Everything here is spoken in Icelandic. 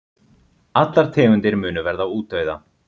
Allar tegundir munu verða útdauða.